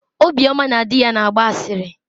Obioma na di ya na-agba asịrị.